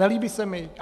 Nelíbí se mi.